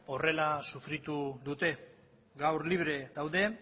horrela sufritu dute gaur libre daude